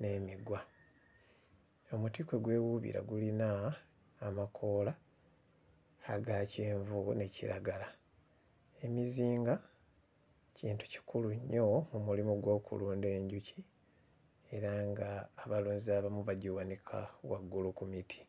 n'emigwa. Omuti kwe gwewuubira gulina amakoola aga kyenvu ne kiragala. Emizinga kintu kikulu nnyo mu mulimu gw'okulunda enjuki era nga abalunzi abamu bagiwanika waggulu ku miti.